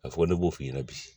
A fɔ ko ne b'o f'i ɲɛna bi